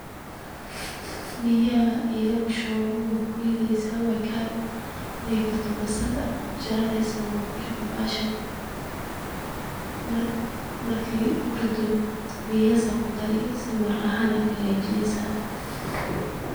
Biyaha elaa kushubani kuritheyasah wakari, marka kartoh basal kujajaraneysah, wakurithi bahashan marki kuritoh qiyaas Aya kudari si maraqavahaan aya kahagajineysah.